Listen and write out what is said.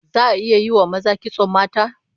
Za'a iya yi wa maza kitson mata?